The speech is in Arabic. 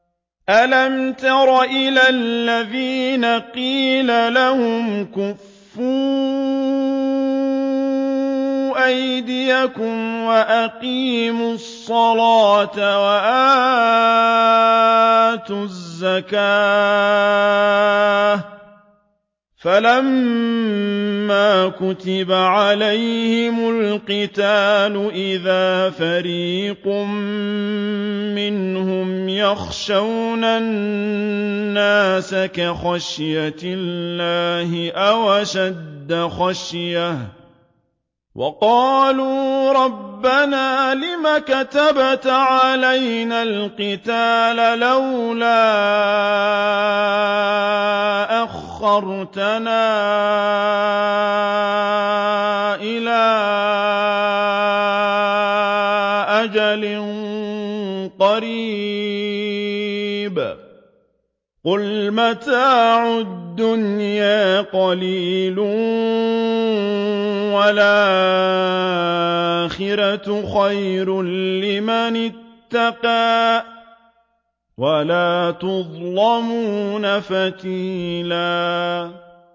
أَلَمْ تَرَ إِلَى الَّذِينَ قِيلَ لَهُمْ كُفُّوا أَيْدِيَكُمْ وَأَقِيمُوا الصَّلَاةَ وَآتُوا الزَّكَاةَ فَلَمَّا كُتِبَ عَلَيْهِمُ الْقِتَالُ إِذَا فَرِيقٌ مِّنْهُمْ يَخْشَوْنَ النَّاسَ كَخَشْيَةِ اللَّهِ أَوْ أَشَدَّ خَشْيَةً ۚ وَقَالُوا رَبَّنَا لِمَ كَتَبْتَ عَلَيْنَا الْقِتَالَ لَوْلَا أَخَّرْتَنَا إِلَىٰ أَجَلٍ قَرِيبٍ ۗ قُلْ مَتَاعُ الدُّنْيَا قَلِيلٌ وَالْآخِرَةُ خَيْرٌ لِّمَنِ اتَّقَىٰ وَلَا تُظْلَمُونَ فَتِيلًا